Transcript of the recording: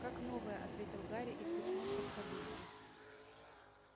как новая ответил гарри и втиснулся в кабинку